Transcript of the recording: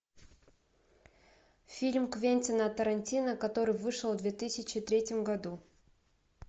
фильм квентина тарантино который вышел в две тысячи третьем году